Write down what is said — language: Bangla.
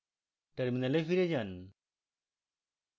terminal ফিরে যান